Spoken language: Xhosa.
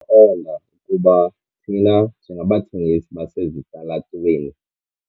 ndaqonda ukuba thina njengabathengisi basesitalatweni